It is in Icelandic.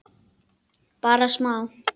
Bara smá.